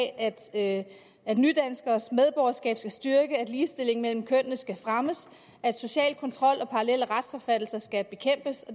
at at nydanskeres medborgerskab skal styrkes at ligestillingen mellem kønnene skal fremmes at social kontrol og parallelle retsopfattelser skal bekæmpes og